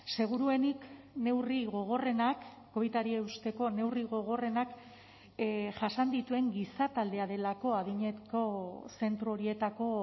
seguruenik neurri gogorrenak covidari eusteko neurri gogorrenak jasan dituen giza taldea delako adineko zentro horietako